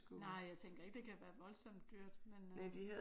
Nej jeg tænker ikke det kan være voldsomt dyrt men øh